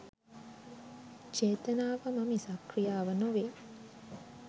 චේතනාවම මිසක් ක්‍රියාව නොවෙයි